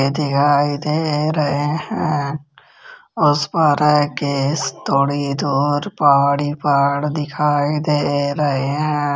दिखाई दे रहे हैं उसपर ये थोड़ी दूर पहाड़ी ही पहाड़ दिखाई दे रहे हैं।